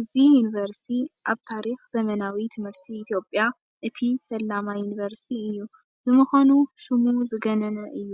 እዚ ዩኒቨርሲቲ ኣብ ታሪክ ዘመናዊ ትምህርቲ ኢትዮጵያ እቲ ፈላማይ ዩኒቨርሲቲ እዩ፡፡ ብምዃኑ ሽሙ ዝገነነ እዩ፡፡